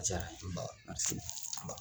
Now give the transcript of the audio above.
jara n ye